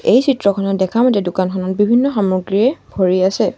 এই চিত্ৰখনত দেখা মতে দোকানখনত বিভিন্ন সামগ্ৰীয়ে ভৰি আছে।